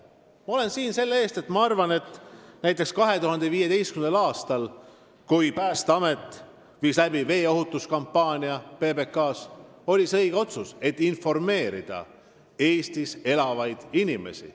Ma olen siin sellepärast, et ma pean õigeks näiteks 2015. aasta otsust, kui Päästeamet viis PBK-s läbi veeohutuskampaania, et informeerida Eestis elavaid inimesi.